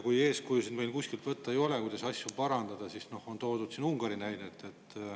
Kui meil ei ole kuskilt võtta eeskuju, kuidas asju parandada, siis siin on toodud Ungari näidet.